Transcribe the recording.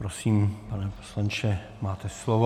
Prosím, pane poslanče, máte slovo.